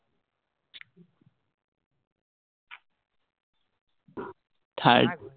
third